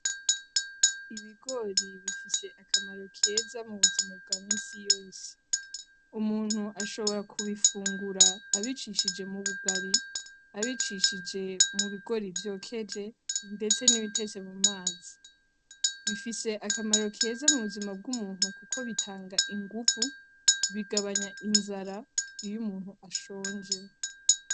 Ibigori bifise akamaro keza mubuzima bwa misi yose. Umuntu ashobora kubifungura abicishije mubugari, abicishije mubigori vyokeje ndetse nibitetse mumazi. Bifise akamaro keza mubuzima bwumuntu kuko bitanga inguvu, bigabanya inzara iyumuntu ashonje.